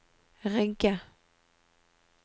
Rygge